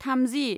थामजि